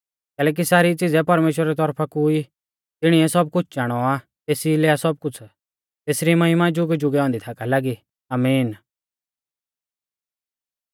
कैलैकि सारी च़िज़ै परमेश्‍वरा री तौरफा कु ई तिणीऐ सब कुछ़ चाणौ आ तेसी लै आ सब कुछ़ तेसरी महिमा जुगैजुगै औन्दी थाका लागी आमीन